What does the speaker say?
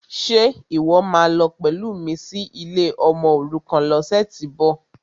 Ṣe ìwọ́ máa lọ pẹ̀lú mi sí ilé ọmọòrukàn lọ́sẹ̀tíbọ̀?